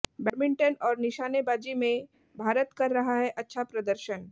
badminton और निशानेबाजी में में भारत कर रहा है अच्छा प्रदर्शन